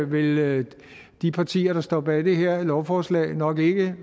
vil de partier der står bag det her lovforslag nok ikke